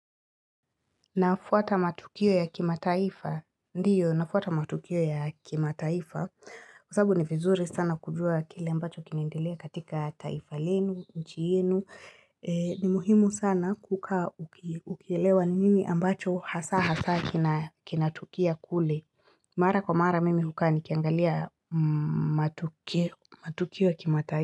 Nafuata matukio ya kima taifa, ndiyo, nafuata matukio ya kimataifa Kwa sababu ni vizuri sana kujua kile ambacho kinendelea katika taifa lenu, nchi yenu. Ni muhimu sana kukaa ukielewa nini ambacho hasa hasa kina tukia kule. Mara kwa mara mimi hukaa nikiangalia. Matukio ya kimataifa.